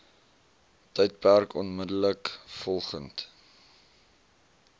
tydperk onmiddellik volgend